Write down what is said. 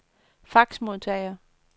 faxmodtager